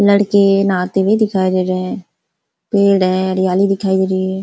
लड़के नहाते हुए दिखायी दे रहे हैं। पेड़ हैं हरयाली दिखई दे रही है ।